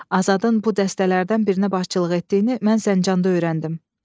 Azadın bu dəstələrdən birinə başçılıq etdiyini mən Zəncanda öyrəndim.